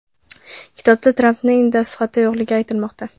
Kitobda Trampning dastxati yo‘qligi aytilmoqda.